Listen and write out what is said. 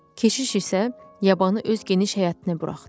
Keçiş isə yabanı öz geniş həyətinə buraxdı.